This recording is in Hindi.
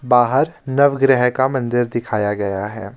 बाहर नवग्रह का मंदिर दिखाया गया है।